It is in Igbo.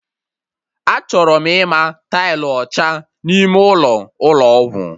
Achọrọ m ịma tailụ ọcha n'ime ụlọ, Ụlọ ọgwụ